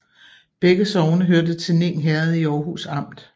Begge sogne hørte til Ning Herred i Aarhus Amt